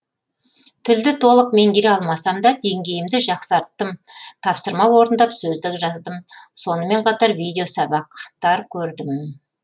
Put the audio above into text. тілді толық меңгере алмасам да деңгейімді жақсарттым тапсырма орындап сөздік жаздым сонымен қатар видеосабақтар көрдім